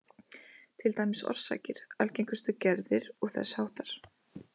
Til dæmis orsakir, algengustu gerðir og þess háttar.